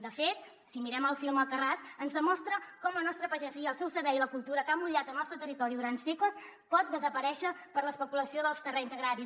de fet si mirem el film alcarràs ens demostra com la nostra pagesia el seu saber i la cultura que ha emmotllat el nostre territori durant segles pot desaparèixer per l’especulació dels terrenys agraris